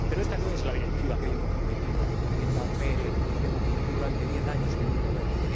Pero esta no es la directiva que habíamos prometido en Tampere y que habíamos prometido durante diez años en el Libro Verde